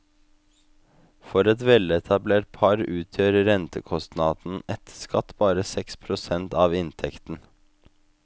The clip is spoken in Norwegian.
For et veletablert par utgjør rentekostnaden etter skatt bare seks prosent av inntekten.